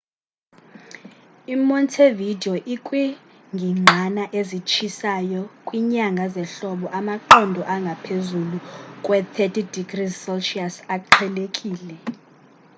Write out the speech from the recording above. i montevideo ikwingingqana ezitshisayo; kwinyanga zehlobo amaqondo angaphezulu kwe +30°c aqhelekile